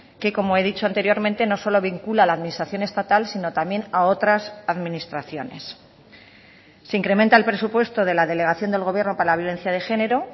que como he dicho anteriormente no solo vincula la administración estatal sino también a otras administraciones se incrementa el presupuesto de la delegación del gobierno para la violencia de género